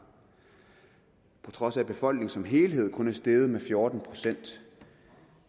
på trods af at befolkningen som helhed kun er steget med fjorten procent